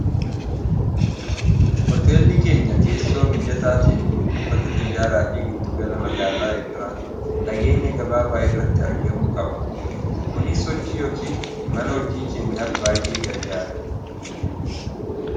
hoteellii keenya teessoo mijataa tee buufata tiyyaaraa fi giddugala magaalaa irraa fageenya gabaabaa irratti argamuu qaba kunii sochi yookiin imala hojii keenyaaf baay'ee gargaara